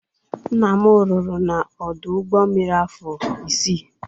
Nna m rụrụ n'ọdụ ụgbo mmiri afọ isii.